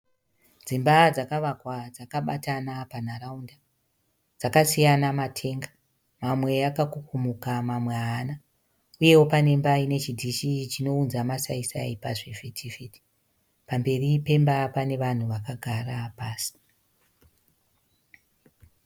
Dzimba dzakavakwa dzakabatana panharaunda. Dzakasiyana matenga mamwe akakukumuka mamwe haana uyeyo pane imba ine chidhishi chinounza masayisayi pazhivhitivhiti. Pamberi pemba pane vanhu vakagara pasi.